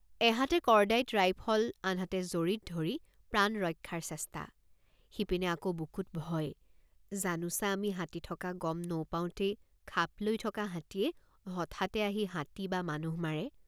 এহাতে cordite rifle আনহাতে জৰীত ধৰি প্ৰাণ ৰক্ষাৰ চেষ্টা সিপিনে আকৌ বুকুত ভয় জানোচা আমি হাতী থকা গম নৌপাওঁতেই খাপ লৈ থকা হাতীয়ে হঠাতে আহি হাতী বা মানুহ মাৰে।